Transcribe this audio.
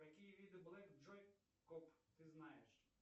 какие виды блэк джой коп ты знаешь